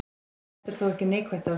En þetta er þó ekki neikvætt ástand.